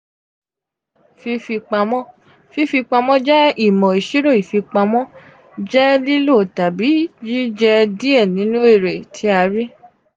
fifipamo: fifipamọ jẹ imo isiro ifipamọ jẹ lilo tabi jije die ninu ere ti a ri.